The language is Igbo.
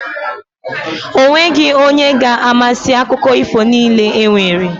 O nweghi onye ga-amasị akụko ifo niile e nwere.